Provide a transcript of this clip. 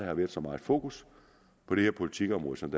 har været så meget fokus på det her politikområde som